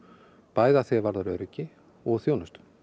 bæði að því er varðar öryggi og þjónustu